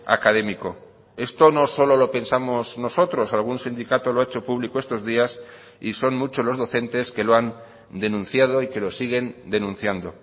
académico esto no solo lo pensamos nosotros algún sindicato lo ha hecho público estos días y son muchos los docentes que lo han denunciado y que lo siguen denunciando